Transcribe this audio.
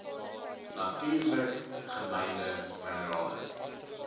natuurlik gemynde minerale